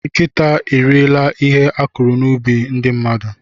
Nkịta eriela ihe a kụrụ n'ubi ndị mmadụ.